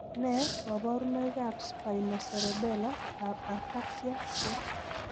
Nee kabarunoikab Spinocerebellar ataxia 40?